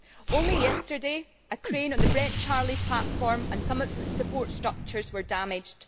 Only yesterday a crane on the Brent Charlie platform and some of its support structures were damaged.